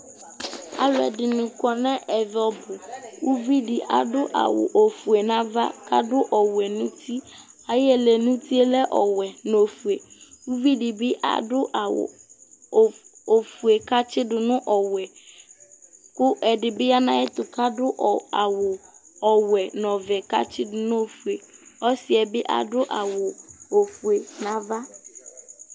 alo ɛdini kɔ no ɛvɛ ɔbu uvi di adu awu ofue n'ava k'adu ɔwɛ no uti ayi ɛlɛnuti yɛ lɛ ɔwɛ no ofue uvi di bi adu awu ofue k'atsi do no ɔwɛ kò ɛdi bi ya n'ayɛto ka'du awu ɔwɛ no ɔvɛ k'atsi do no ofue ɔsi yɛ bi adu awu ofue n'ava